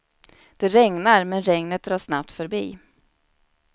Det regnar, men regnet drar snabbt förbi.